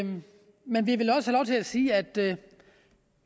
sige at den